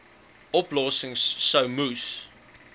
oplossings sou moes